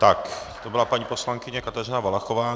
Tak to byla paní poslankyně Kateřina Valachová.